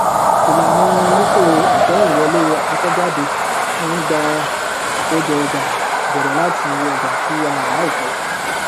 ìlànà lifo ìkẹyìnwọlé àkọkọjáde máa ń gba àkójọọjà bẹrẹ láti ọjà tí a rà láìpẹ